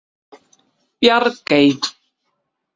Bjargey